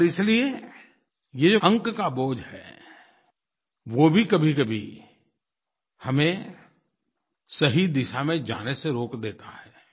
और इसलिये ये जो अंक का बोझ है वो भी कभीकभी हमें सही दिशा में जाने से रोक देता है